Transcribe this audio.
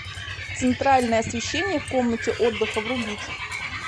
центральное освещение в комнате отдыха врубить